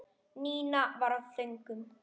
Nína var á þönum.